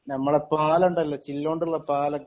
ഞമ്മളെ പാലം ഉണ്ടല്ലോ ചില്ലൊണ്ടുള്ള പാലം ഒക്കെ